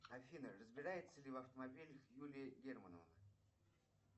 афина разбирается ли в автомобилях юлия германова